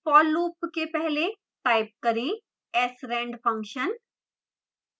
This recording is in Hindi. for loop के पहले type करें srand function